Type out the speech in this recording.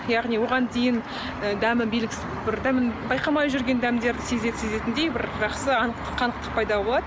яғни оған дейін ы дәмі белгісіз бір дәмін байқамай жүрген дәмдер сезетіндей бір жақсы қанықтық пайда болады